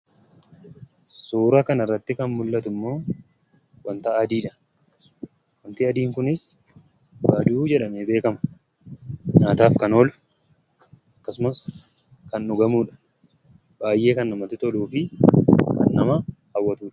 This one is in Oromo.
Suura kanarratti kan mul'atu immoo waanta adiidha. Waanti adii kunis baaduu jedhamee beekama. Nyaataaf kan oolu akkasumas kan dhugamudha. Baay'ee kan namatti toluu fi nama hawwatudha.